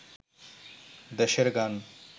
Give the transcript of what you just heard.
দেশের গান